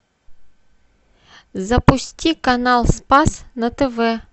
запусти канал спас на тв